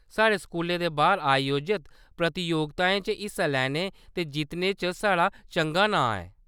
साढ़े स्कूलै दे बाह्‌‌र आयोजत प्रतियोगिताएं च हिस्सा लैने ते जित्तने च साढ़ा चंगा नांऽ ऐ।